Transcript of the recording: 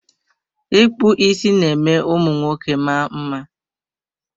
Ịkpụ isi ná-eme ụmụ nwoke maa mma.